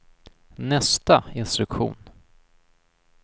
nästa instruktion